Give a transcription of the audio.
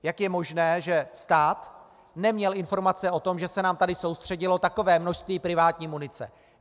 Jak je možné, že stát neměl informace o tom, že se nám tady soustředilo takové množství privátní munice?